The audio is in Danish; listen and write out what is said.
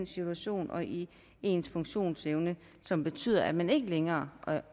situation og i ens funktionsevne som betyder at man ikke længere